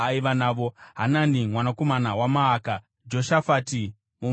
Hanani mwanakomana waMaaka, Joshafati muMitini,